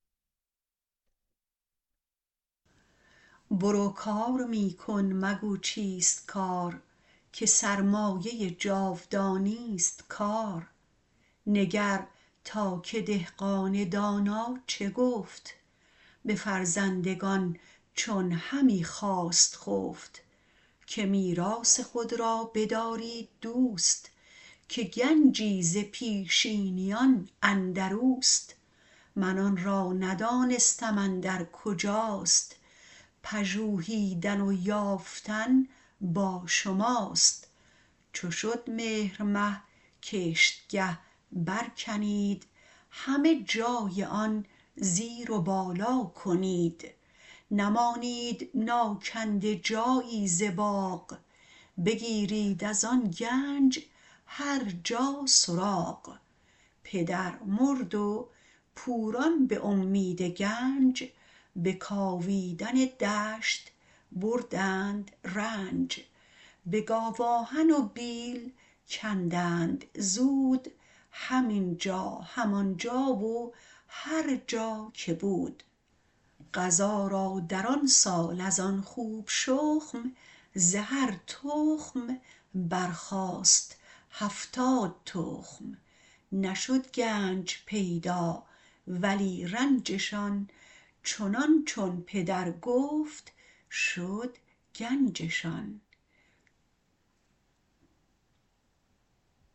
برو کار می کن مگو چیست کار که سرمایه جاودانی ست کار نگر تا که دهقان دانا چه گفت به فرزندگان چون همی خواست خفت که میراث خود را بدارید دوست که گنجی ز پیشینیان اندر اوست من آن را ندانستم اندر کجاست پژوهیدن و یافتن با شماست چو شد مهرمه کشتگه برکنید همه جای آن زیر و بالا کنید نمانید ناکنده جایی ز باغ بگیرید از آن گنج هرجا سراغ پدر مرد و پوران به امید گنج به کاویدن دشت بردند رنج به گاوآهن و بیل کندند زود هم اینجا هم آنجا و هرجا که بود قضا را در آن سال از آن خوب شخم ز هر تخم برخاست هفتاد تخم نشد گنج پیدا ولی رنجشان چنان چون پدر گفت شد گنجشان